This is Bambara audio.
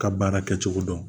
Ka baara kɛcogo dɔn